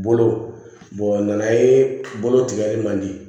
Bolo nana ye bolo tigɛli man di